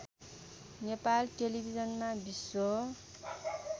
नेपाल टेलिभिजनमा विश्व